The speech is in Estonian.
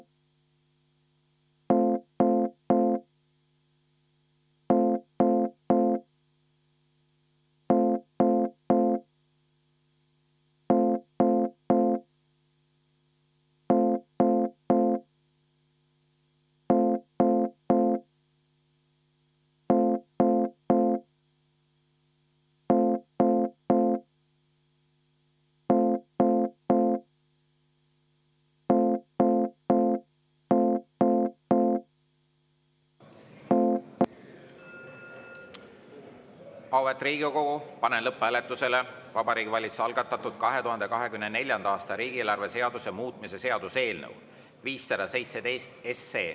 Auväärt Riigikogu, panen lõpphääletusele Vabariigi Valitsuse algatatud 2024. aasta riigieelarve seaduse muutmise seaduse eelnõu 517.